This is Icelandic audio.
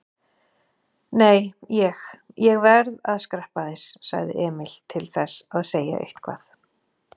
Nei, ég. ég verð að skreppa aðeins, sagði Emil, til þess að segja eitthvað.